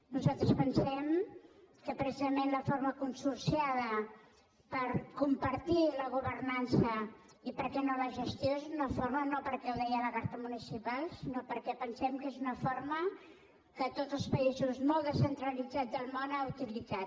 nosaltres pensem que precisament la forma consor·ciada per compartir la governança i per què no la gestió és una fórmula no perquè ho deia la carta mu·nicipal sinó perquè pensem que és una forma que tots els països molt descentralitzats del món han utilitzat